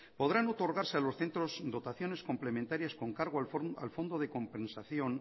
podrán otorgarse a los centros dotaciones complementarias con cargo al fondo de compensación